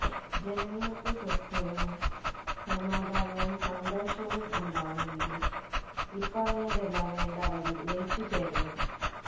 ജനങ്ങള്ക്ക് സ്വാസ്ഥ്യവും സമാധാനവും സന്തോഷവും ഉണ്ടാവണമെങ്കില് ഇപ്പറഞ്ഞത് എല്ലാം വേണ്ട അളവില് ലയിച്ചുചേരണം